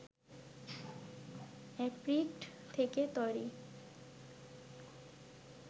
apricot থেকে তৈরি